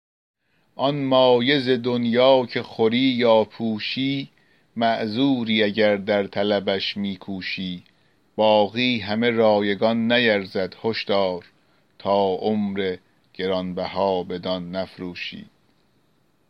آن مایه ز دنیا که خوری یا پوشی معذوری اگر در طلبش می کوشی باقی همه رایگان نیرزد هش دار تا عمر گران بها بدان نفروشی